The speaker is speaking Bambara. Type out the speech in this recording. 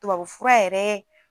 Tubabu fura yɛrɛ